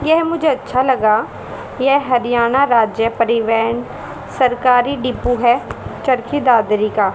यह मुझे अच्छा लगा यह हरियाणा राज्य परिवेहन सरकारी डिपू है चरखी दादरी का--